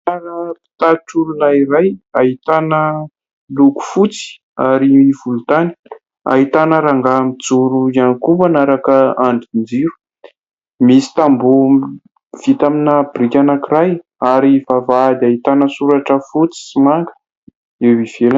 Rangahy mpitatitr'olona iray : ahitana loko fotsy ary volontany, ahitana rangahy mijoro ihany koa manaraka andrin-jiro, misy tamboho vita amina biriky anankiray ary vavahady ahitana soratra fotsy sy manga eo ivelany.